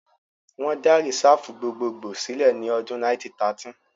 Wọ́n dá Rìsáàfù gbogbogbòò sílẹ̀ ní ọdún 1913